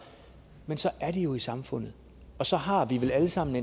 men så er de jo i samfundet og så har vi vel alle sammen